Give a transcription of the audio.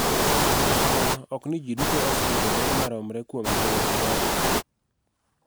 Kata kamano ok ni ji duto oseyudo ber maromre kuom ngima maberni.